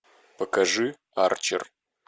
покажи арчер